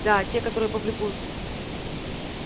да те которые публикуются